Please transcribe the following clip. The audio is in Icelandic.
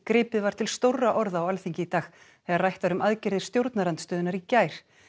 gripið var til stórra orða á Alþingi í dag þegar rætt var um aðgerðir stjórnarandstöðunnar í gær